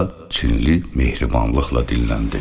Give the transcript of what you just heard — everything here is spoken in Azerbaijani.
Çinli mehribanlıqla dilləndi.